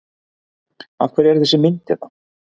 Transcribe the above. Af hverju er þessi mynd hérna?